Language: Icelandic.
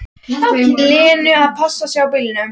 Lenu að passa sig á bílunum.